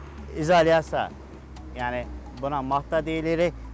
İzolyasiya, yəni buna mat da deyirik.